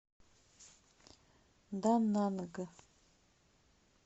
дананг